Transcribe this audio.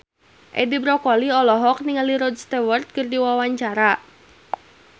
Edi Brokoli olohok ningali Rod Stewart keur diwawancara